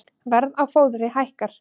Verð á fóðri hækkar